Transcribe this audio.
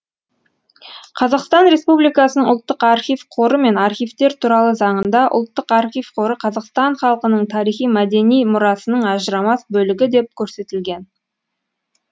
қазақстан республикасының ұлттық архив қоры мен архивтер туралы заңында ұлттық архив қоры қазақстан халқының тарихи мәдени мұрасының ажырамас бөлігі деп көрсетілген